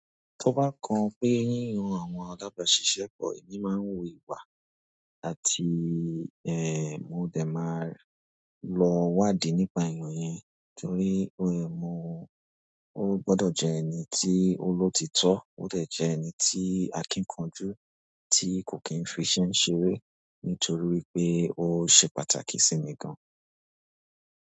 Tó bá kan pé yíyan àwọn alabàsísẹ́ pọ́, èmi máa ń wo ipa àti ehn, mo dẹ̀ máa lọ wádìí nípa ènìyàn yẹn. Nítorí o eh mo, ó gbọdọ̀ jẹ́ ẹni tí olóòtítọ́, ó dẹ̀ jẹ́ ẹni tí akíkanjú, tí kò kí n fiṣẹ́ ṣeré nítorí pé ó ṣe pàtàkì sí mi gan.